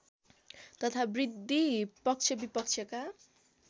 तथा वृद्धि पक्षविपक्षका